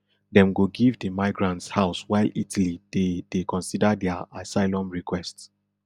dem go give di migrants house while italy dey dey consider dia asylum requests